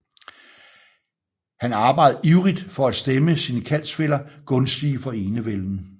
Han arbejdede ivrigt for at stemme sine kaldsfæller gunstige for enevælden